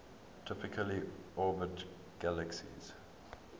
typically orbit galaxies